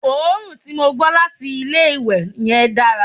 òórùn tí mò ń gbọ́ láti ilé ìwẹ̀ yen dára